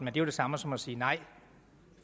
er jo det samme som at sige nej